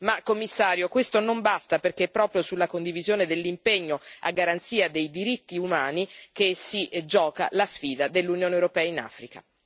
Ma, signor Commissario, questo non basta perché è proprio sulla condivisione dell'impegno a garanzia dei diritti umani che si gioca la sfida dell'Unione europea in Africa.